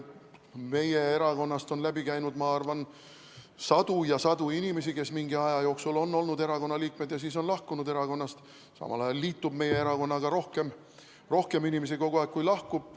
Meie erakonnast on läbi käinud, ma arvan, sadu ja sadu inimesi, kes mingi aja jooksul on olnud erakonna liikmed ja siis on lahkunud erakonnast, samal ajal liitub meie erakonnaga kogu aeg rohkem inimesi, kui erakonnast lahkub.